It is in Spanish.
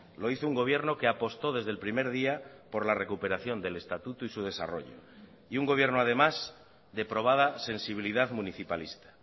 lo hizo un gobierno que apostó desde el primer día por la recuperación del estatuto y su desarrollo y un gobierno además de probada sensibilidad municipalista